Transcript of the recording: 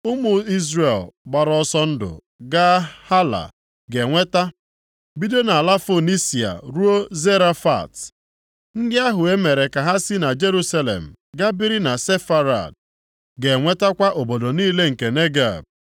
Ụmụ Izrel gbara ọsọ ndụ gaa na Hala, ga-enweta, bido nʼala Fonisia ruo Zarefat. Ndị ahụ e mere ka ha si Jerusalem gaa biri na Sefarad, ga-enwetakwa obodo niile nke Negeb.